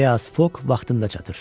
Fias Fok vaxtında çatır.